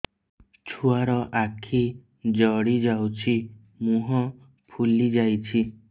ଛୁଆର ଆଖି ଜଡ଼ି ଯାଉଛି ମୁହଁ ଫୁଲି ଯାଇଛି